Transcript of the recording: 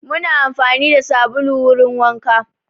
Muna amfani da sabulu wurin wanka